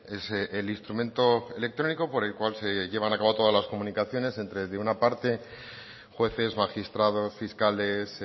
es el instrumento electrónico por el cual se lleva a cabo todas las comunicaciones entre de una parte jueces magistrados fiscales